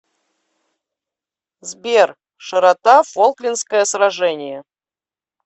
сбер широта фолклендское сражение